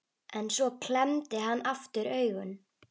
En svo klemmdi hann aftur augun.